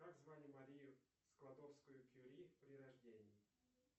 как звали марию складовскую кюри при рождении